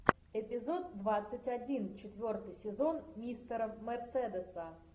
эпизод двадцать один четвертый сезон мистера мерседеса